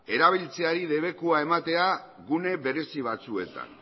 erabiltzeari debekua ematea gune berezi batzuetan